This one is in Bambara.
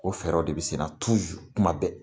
O fɛɛrɛw de bɛ sen na kuma bɛɛ .